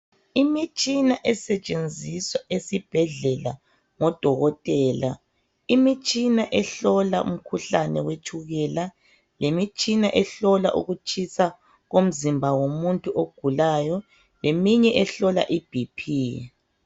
Imitshina esetshenziswa esibhedlela ngodokotela, imitshina ehlola umkhuhlane wetshukela lemitshina ehlola ukutshisa komzimba womuntu ogulayo leminye ehlola iBP.